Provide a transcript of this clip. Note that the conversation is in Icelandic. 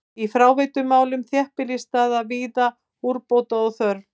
Í fráveitumálum þéttbýlisstaða er víða úrbóta þörf.